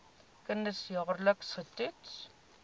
kinders jaarliks getoets